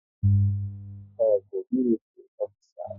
Ọ bụ militri ofisa?